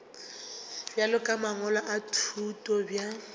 bja mangwalo a thuto bja